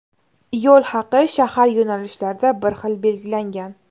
Yo‘l haqi shahar yo‘nalishlarida bir xil belgilangan.